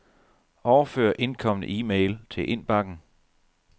Overfør indkomne e-mail til indbakken.